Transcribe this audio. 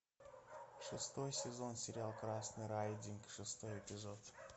шестой сезон сериал красный райдинг шестой эпизод